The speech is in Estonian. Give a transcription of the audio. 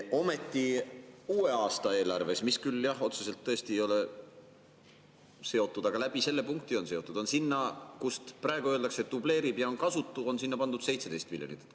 Ometi, uue aasta eelarves – mis küll otseselt tõesti ei ole seotud, aga selle punkti kaudu on seotud – on sinna, kus praegu öeldakse, et dubleerib ja on kasutu, pandud 17 miljonit.